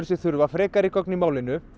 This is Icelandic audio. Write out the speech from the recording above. sig þurfa frekari gögn í málinu